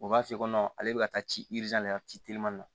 U b'a f'i ye ale bɛ ka taa ci de ka ci te teliman na